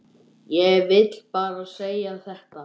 Og það gerði hún.